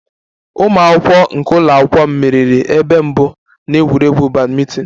Ụmụ akwụkwọ nke ụlọ akwụkwọ m meriri ebe mbụ na egwuregwu badminton